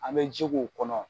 An mɛ ji k'u kɔnɔ